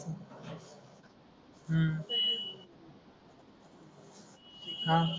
हा